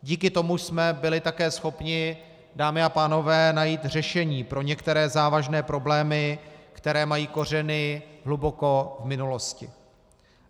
Díky tomu jsme byli také schopni, dámy a pánové, najít řešení pro některé závažné problémy, které mají kořeny hluboko v minulosti.